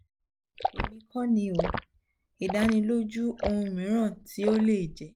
emi ko ni um idaniloju ohun miiran ti o le jẹ